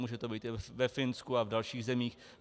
Může to být i ve Finsku a v dalších zemích.